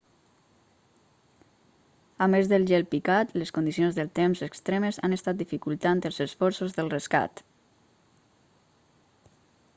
a més del gel picat les condicions del temps extremes han estat dificultant els esforços del rescat